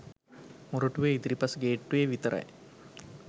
මොරටුවේ ඉදිරිපස ගේට්ටුවේ විතරයි